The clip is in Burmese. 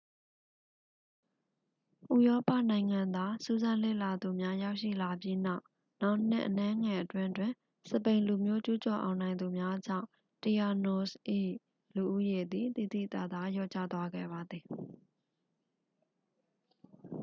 ဥရောပနိုင်ငံသားစူးစမ်းလေ့လာသူများရောက်ရှိလာပြီးနောက် နောင်နှစ်အနည်းငယ်အတွင်းတွင် စပိန်လူမျိုးကျူးကျော်အောင်နိုင်သူများကြောင့် tainos ၏လူဦးရေသည် သိသိသာသာ လျော့ကျသွားခဲ့ပါသည်